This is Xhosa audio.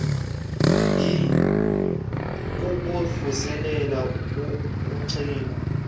bee kukuvuselela ugcino